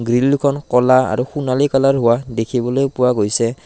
Grill দুখন ক'লা আৰু সোণালী কালাৰ হোৱা দেখিবলৈ পোৱা গৈছে।